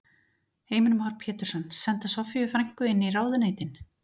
Heimir Már Pétursson: Senda Soffíu frænku inn í ráðuneytin?